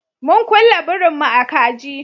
Mun kulle birin mu a kaji